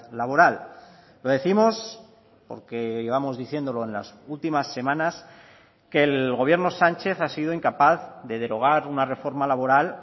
laboral lo décimos porque llevamos diciéndolo en las últimas semanas que el gobierno sánchez ha sido incapaz de derogar una reforma laboral